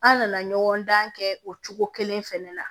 An nana ɲɔgɔn dan kɛ o cogo kelen fɛnɛ la